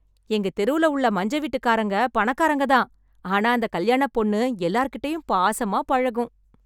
எங்கத் தெருல உள்ள மஞ்ச வீட்டுக்காரங்க பணக்காரங்க தான், ஆனா அந்த கல்யாணப் பொண்ணு எல்லார்கிட்டயும் பாசமா பழகும்.